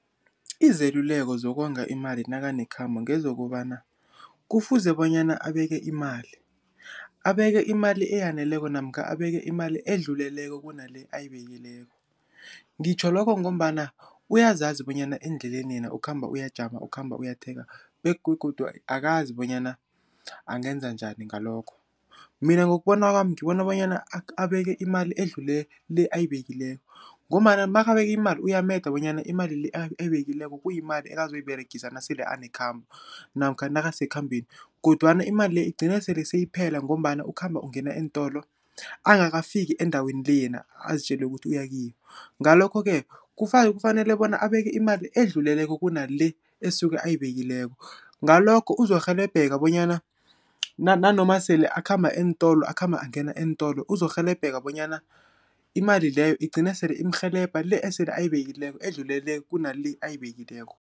Izeluleko zokonga imali nakane khabo ngezokobana, kufuze bonyana abeke imali. Abeke imali eyaneleko, namkha abeke imali edluleleko, kunale ayibekileko. Ngitjho lokho, ngombana uyazazi bonyana endleleni yena ukhamba uyajama, ukhamba uyathenga, begodu akazi bonyana angenza njani ngalokho. Mina ngokubona kwami ngibona bonyana abeke imali edlule le, ayibekileko, ngombana makabeki imali uyameda bonyana imali le, ayibekileko kuyimali ekazoyiberegisa nasele anekhambo, namkha nakasekhambeni, kodwana imali le, igcine sele seyiphela, ngombana ukhamba ungena eentolo, angakafiki endaweni le yena azitjele ukuthi uyakiyo. Ngalokho-ke, kufanele bona abeke imali edluleleko kuna le, esuke ayibekileko. Ngalokho uzorhelebheka bonyana nanoma akhamba angena eentolo, uzorhelebheka bonyana imali leyo igcine sele imrhelebha le, esele ayibekileko edlulele kunale ayibekileko.